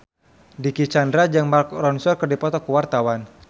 Dicky Chandra jeung Mark Ronson keur dipoto ku wartawan